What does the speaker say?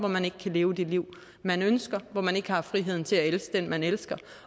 at man ikke kan leve det liv man ønsker og at man ikke har friheden til at elske den man elsker